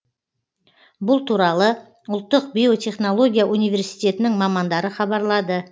бұл туралы ұлттық биотехнология университетінің мамандары хабарлады